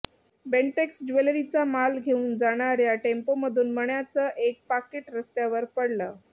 बेंटेक्स ज्वेलरीचा माल घेऊन जाणाऱ्या टेम्पोमधून मण्यांचं एक पाकीट रस्त्यावर पडलं